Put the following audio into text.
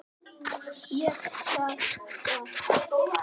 Ég tek það!